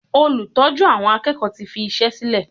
Olùtọ́jú àwọn akẹ́kọ̀ọ́ tí fi iṣẹ́ sílè.